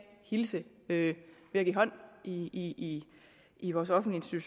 hilse ved at give hånd i i vores offentlige